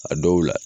A dɔw la